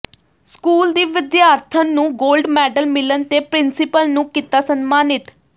school ਦੀ ਵਿਦਿਆਰਥਣ ਨੂੰ ਗੋਲਡ ਮੈਡਲ ਮਿਲਣ ਤੇ ਪਿ੍ੰਸੀਪਲ ਨੂੰ ਕੀਤਾ ਸਨਮਾਨਿਤ